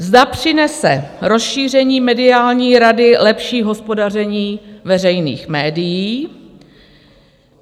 Zda přinese rozšíření mediální rady lepší hospodaření veřejných médií?